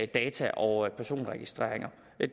data og personregistreringer